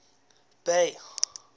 bay